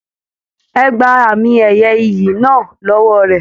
Ẹ gbà àmi ẹyẹ ìyí náà l'ọwọ rẹ!